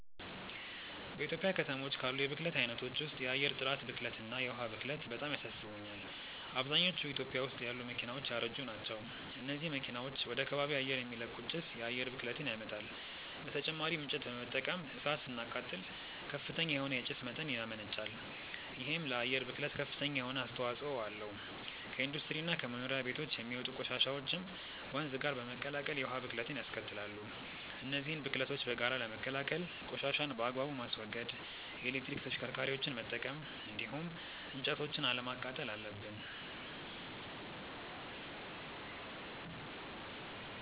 በኢትዮጵያ ከተሞች ካሉ የብክለት አይነቶች ውስጥ የአየር ጥራት ብክለት እና የዉሃ ብክለት በጣም ያሳስቡኛል። አብዛኞቹ ኢትዮጵያ ውስጥ ያሉ መኪናዎች ያረጁ ናቸው። እነዚህ መኪናዎች ወደ ከባቢ አየር የሚለቁት ጭስ የአየር ብክለትን ያመጣል። በተጨማሪም እንጨት በመጠቀም እሳት ስናቃጥል ከፍተኛ የሆነ የጭስ መጠን ያመነጫል። ይሄም ለአየር ብክለት ከፍተኛ የሆነ አስተዋጽኦ አለው። ከኢንዱስትሪ እና ከመኖሪያ ቤቶች የሚወጡ ቆሻሻዎችም ወንዝ ጋር በመቀላቀል የውሃ ብክለትንያስከትላሉ። እነዚህን ብክለቶች በጋራ ለመከላከል ቆሻሻን በአግባቡ ማስወገድ፣ የኤሌክትሪክ ተሽከርካሪዎችን መጠቀም እንዲሁም እንጨቶችን አለማቃጠል አለብን።